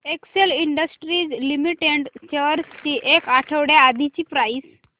Excel Industries Limited shares ची एक आठवड्या आधीची प्राइस